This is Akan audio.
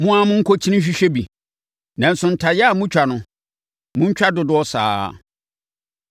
Mo ara monkɔkyini nhwehwɛ bi, nanso ntayaa a motwa no, montwa dodoɔ saa ara.”